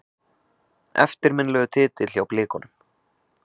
Eftirminnilegur titill hjá Blikunum.